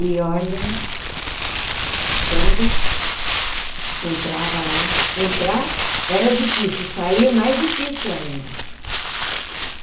E, olha, quando entrava lá, entrar era difícil, sair mais difícil ainda.